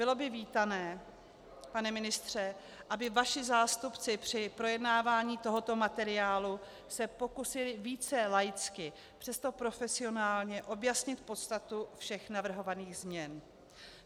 Bylo by vítané, pane ministře, aby vaši zástupci při projednávání tohoto materiálu se pokusili více laicky, přesto profesionálně, objasnit podstatu všech navrhovaných změn.